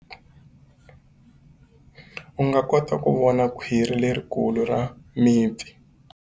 U nga kota ku vona khwiri lerikulu ra mipfi.